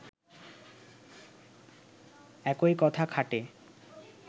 একই কথা খাটে